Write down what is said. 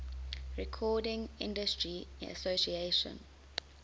recording industry association